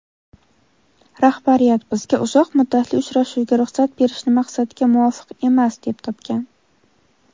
"Rahbariyat" bizga uzoq muddatli uchrashuvga ruxsat berishni maqsadga muvofiq emas deb topgan.